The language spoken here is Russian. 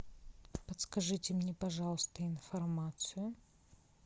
подскажите мне пожалуйста информацию